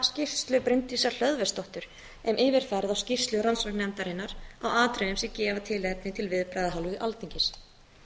skýrslu bryndísar hlöðversdóttur um yfirferð á skýrslu rannsóknarnefndarinnar á atriðum sem gefa tilefni til viðbragða af hálfu alþingis